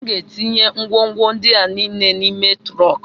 M ga-etinye ngwongwo ndị a niile n'ime trọnk